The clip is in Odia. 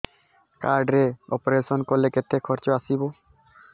କାର୍ଡ ରେ ଅପେରସନ କଲେ କେତେ ଖର୍ଚ ଆସିବ